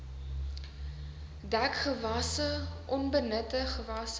dekgewasse onbenutte gewasse